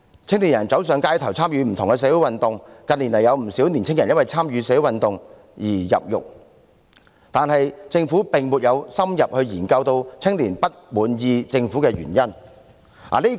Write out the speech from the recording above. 青年人走上街頭，參與不同的社會運動，近年更有不少青年人因為參與社會運動而入獄，但政府並沒有深入研究青年不滿意政府的原因。